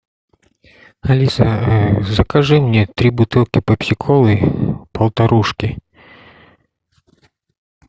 алиса закажи мне три бутылки пепси колы полтарушки